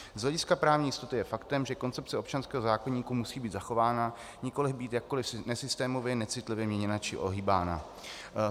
Z hlediska právní jistoty je faktem, že koncepce občanského zákoníku musí být zachována, nikoliv být jakkoliv nesystémově, necitlivě měněna či ohýbána.